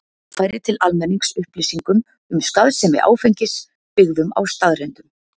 Að afla og koma á framfæri til almennings upplýsingum um skaðsemi áfengis, byggðum á staðreyndum.